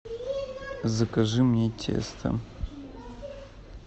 закажи мне тесто